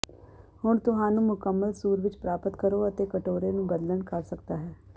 ਹੁਣ ਤੁਹਾਨੂੰ ਮੁਕੰਮਲ ਸੂਰ ਵਿੱਚ ਪ੍ਰਾਪਤ ਕਰੋ ਅਤੇ ਕਟੋਰੇ ਨੂੰ ਬਦਲਣ ਕਰ ਸਕਦਾ ਹੈ